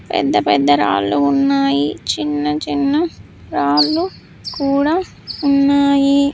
పెద్ద పెద్ద రాళ్లు ఉన్నాయి చిన్న చిన్న రాళ్ళు కూడా ఉన్నాయి.